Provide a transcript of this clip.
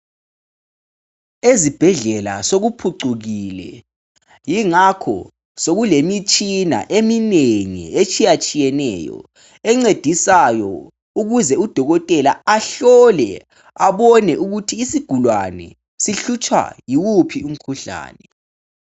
Ezibhedlela sokuphucukile ingakho sokulemitshina eminengi etshiyatshiyeneyo encedisayo ukuze udokotela ahlole abone ukuthi isigulane sihlutshwa yiwuphi umkhuhlane.